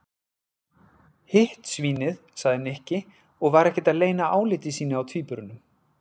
Hitt svínið sagði Nikki og var ekkert að leyna áliti sínu á tvíburunum.